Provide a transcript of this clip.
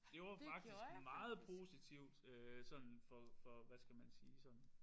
Det var faktisk meget positivt øh sådan for for hvad skal man sige sådan